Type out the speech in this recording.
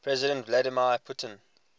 president vladimir putin